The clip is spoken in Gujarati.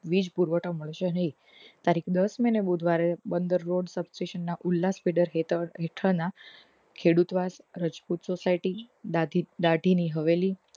વીજ પુરવઠો મળશે નહી તારીખ દશ મે ને બુધવારે બંદર રો subtraction ના ઉલ્લા fiddler હેઠળ ના ખેડૂત વાસ રાજપુત society દાઢી ની હવેલી મળશે નહી